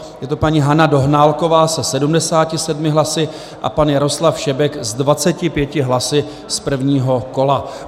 Je to paní Hana Dohnálková se 77 hlasy a pan Jaroslav Šebek s 25 hlasy z prvního kola.